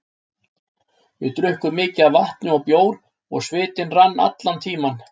Við drukkum mikið af vatni og bjór og svitinn rann allan tímann.